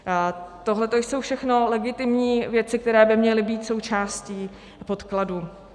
Tohleto jsou všechno legitimní věci, které by měly být součástí podkladů.